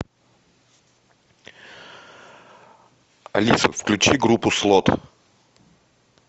алиса включи группу слот